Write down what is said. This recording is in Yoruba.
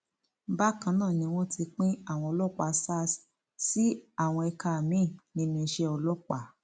bákan náà ni wọn ti pín àwọn ọlọpàá sars sí àwọn ẹka miín nínú iṣẹ ọlọpàá